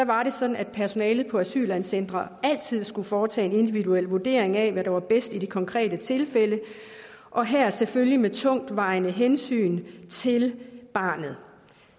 var det sådan at personalet på asylcentre altid skulle foretage en individuel vurdering af hvad der var bedst i det konkrete tilfælde og her selvfølgelig med tungtvejende hensyn til barnet